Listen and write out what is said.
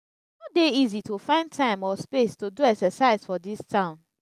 e no dey easy to find time or space to do exercise for dis town.